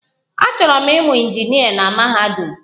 Achọrọ m ịmụ injinịa na mahadum.